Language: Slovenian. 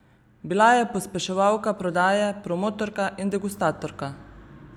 Bila je pospeševalka prodaje, promotorka in degustatorka.